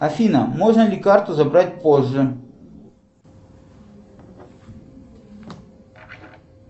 афина можно ли карту забрать позже